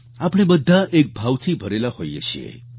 આપણે બધા એક ભાવથી ભરેલા હોઈએ છીએ